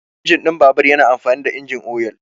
Injin ɗin babur yana amfani da injin oyal.